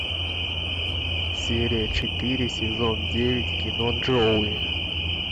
серия четыре сезон девять кино джоуи